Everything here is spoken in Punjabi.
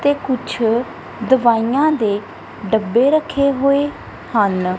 ਤੇ ਕੁਛ ਦਵਾਈਆਂ ਦੇ ਡੱਬੇ ਰੱਖੇ ਹੋਏ ਹਨ।